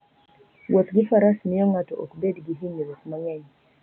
Wuoth gi Faras miyo ng'ato ok bed gi hinyruok mang'eny.